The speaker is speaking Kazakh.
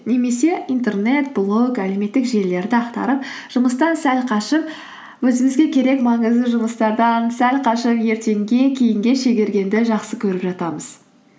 немесе интернет блог әлеуметтік желілерді ақтарып жұмыстан сәл қашып өзімізге керек маңызды жұмыстардан сәл қашып ертеңге кейінге шегергенді жақсы көріп жатамыз